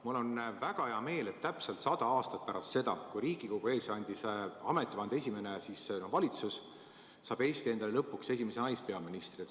Mul on väga hea meel, et täpselt sada aastat pärast seda, kui Riigikogu ees andis ametivande esimene valitsus, saab Eesti endale lõpuks esimese naispeaministri.